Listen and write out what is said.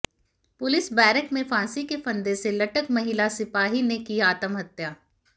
police barrack में फांसी के फंदे से लटक महिला सिपाही ने की आत्महत्या